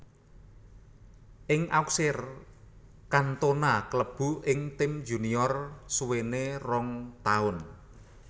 Ing Auxerre Cantona klebu ing tim junior suwene rong taun